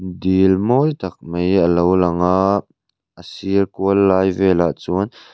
dil mawi tak mai a lo lang a a sir kual lai vel ah chuan--